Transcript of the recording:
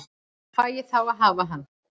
Fæ ég þá að hafa hann?